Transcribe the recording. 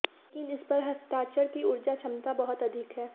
लेकिन इस पर हस्ताक्षर की ऊर्जा क्षमता बहुत अधिक है